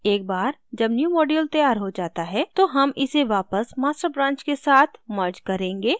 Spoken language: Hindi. एक बार जब newmodule तैयार हो जाता है तो हम इसे वापस master branch के साथ merge करेंगे